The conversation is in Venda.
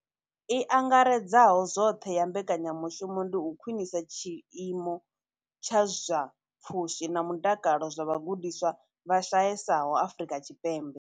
I angaredzaho zwoṱhe ya mbekanya mushumo ndi u khwinisa tshiimo tsha zwa pfushi na mutakalo zwa vhagudiswa vha shayesaho Afrika Tshipembe.